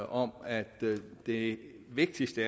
om at det vigtigste